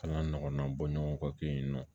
Kalan ɲɔgɔnna bɔ ɲɔgɔn kɔ ten nɔ